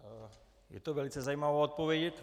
Je to velice zajímavá odpověď.